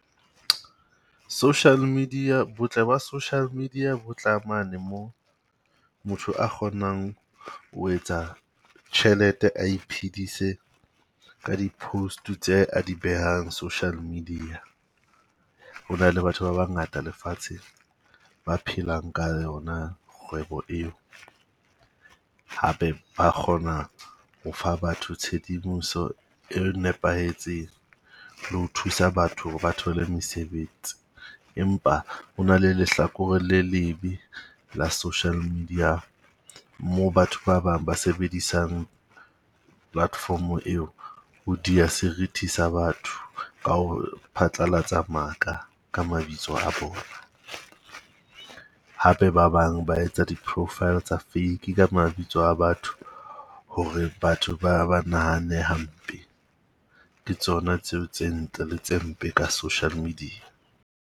Social media, botle ba social media bo tla mane mo motho a kgonang ho etsa tjhelete, a iphedise ka di-post-e tse a di behang social media. Ho na le batho ba bangata lefatsheng ba phelang ka yona kgwebo eo. Hape ba kgona ho fa batho tshedimoso e nepahetseng le ho thusa batho ho re ba thole mosebetsi. Empa ho na le lehlakore le lebe la social media moo batho ba bang ba sebedisang platform-o eo ho dia seriti sa batho. Ka ho phatlalatsa maka ka mabitso a bona. Hape ba bang ba etsa di-profile tsa fake ka mabitso a batho, hore batho ba ba nahane hampe. Ke tsona tseo tse ntle le tse mpe ka social media.